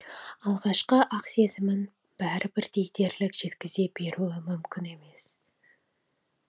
алғашқы ақ сезімін бәрі бірдей дерлік жеткізе беруі мүмкін емес